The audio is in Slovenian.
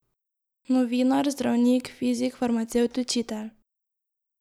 Novinar, zdravnik, fizik, farmacevt, učitelj.